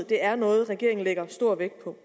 det er noget regeringen lægger stor vægt på